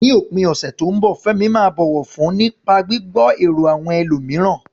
Ní òpin ọ̀sẹ̀ tó ń bọ̀, Fẹ́mi máa bọ̀wọ̀ fún nípa gbígbọ́ èrò àwọn ẹlòmíràn.